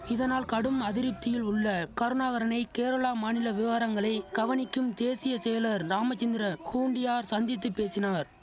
இதனால் கடும் அதிருப்தியில் உள்ள கருணாகரனை கேரளா மாநில விவாரங்களை கவனிக்கும் தேசிய செயலர் ராமச்சந்திர ஹூண்டியார் சந்தித்து பேசினார்